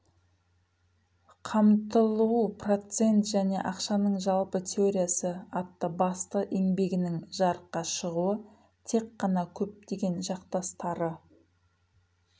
қамтылу процент және ақшаның жалпы теориясы атты басты еңбегінің жарыққа шығуы тек қана көптеген жақтастары